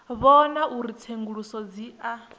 vhona uri tsenguluso dzi a